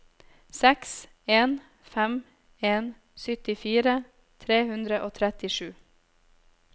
seks en fem en syttifire tre hundre og trettisju